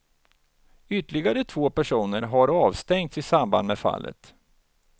Ytterligare två personer har avstängts i samband med fallet.